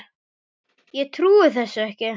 Ég trúi þessu ekki